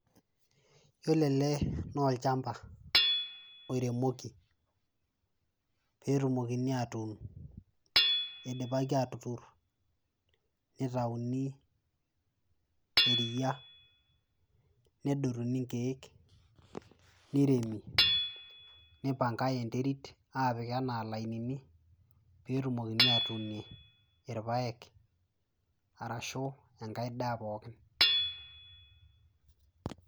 yiolo ele naa olchamba oiremoki petumokini atun idipaki atuturr nitauni iriyia nedotuni inkeek niremi nipangae enterit apik anaa ilainini petumokini atunie irpayek arashu enkae daa pookin.